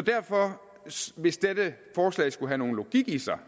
derfor hvis dette forslag skulle have nogen logik i sig